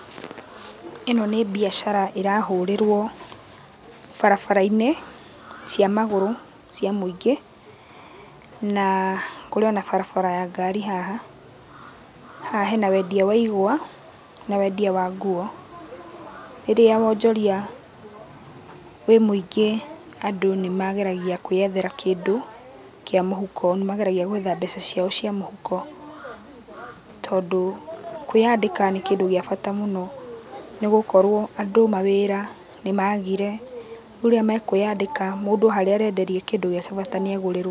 Ĩno nĩ mbiacara ĩrahũrĩrũo barabara-inĩ, cia magũrũ cia mũingĩ, naa kũrĩ ona barabara ya ngari haha. Haha hena wendia wa igwa, na wendia wa nguo. Rĩrĩa wonjoria wĩ mũingĩ andũ nĩmageragia kwĩyethera kĩndũ, kĩa mũhuko. Nĩmageragia gwetha mbeca ciao cia mũhuko, tondũ kwĩyandĩka nĩ kĩndũ gĩa bata mũno, nĩgũkorwo andũ mawĩra nĩmagire, rĩu rĩrĩa mekwĩyandĩka, mũndũ harĩa arĩenderia kĩndũ gĩake bata nĩagũrĩrũo.